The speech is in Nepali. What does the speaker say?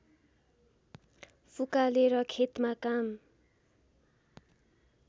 फुकालेर खेतमा काम